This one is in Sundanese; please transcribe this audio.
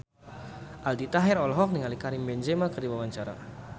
Aldi Taher olohok ningali Karim Benzema keur diwawancara